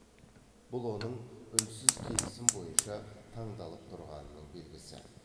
бұл оның үнсіз келісім бойынша таңдалып тұрғанының белгісі